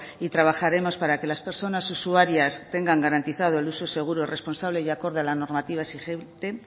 y trabajaremos para que las personas usuarias tengan garantizado el uso seguro responsable y acorde a la normativa exigente